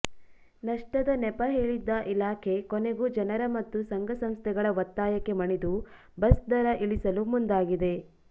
ನಷ್ಟದ ನೆಪ ಹೇಳಿದ್ದ ಇಲಾಖೆ ಕೊನೆಗೂ ಜನರ ಮತ್ತು ಸಂಘಸಂಸ್ಥೆಗಳ ಒತ್ತಾಯಕ್ಕೆ ಮಣಿದು ಬಸ್ ದರ ಇಳಿಸಲು ಮುಂದಾಗಿದೆ